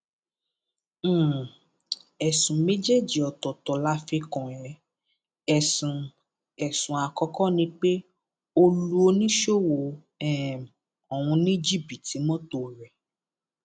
um ẹsùn méjì ọtọọtọ la fi kàn ẹ ẹsùn ẹsùn àkọkọ ni pé ó lu oníṣòwò um ọhún ní jìbìtì mọtò rẹ